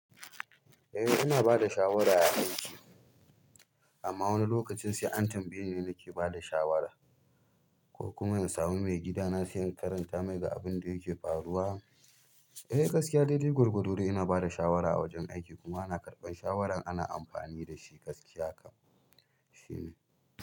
Eh ina bada shawara a aiki amma wani lokacin sai an tambaye ni nake bada shawara ko kuma in samu maigida na sai in karanta mai ga abin da yake faruwa. Eh gaskiya daidai gwargwado dai ina bada shawara a wajen aiki kuma ana karɓan shawaran ana amfani dashi gaskiya kam shine.